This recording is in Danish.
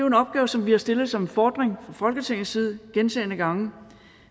en opgave som vi har stillet som en fordring fra folketingets side gentagne gange